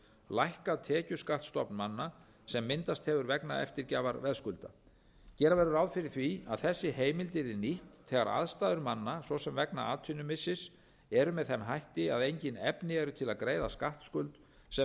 lækkað tekjuskattsstofn manna sem myndast hefur vegna eftirgjafar veðskulda gera verður ráð fyrir því að þessi heimild yrði nýtt þegar aðstæður manna svo sem vegna atvinnumissis eru með þeim hætti að engin efni eru til að greiða skattskuld sem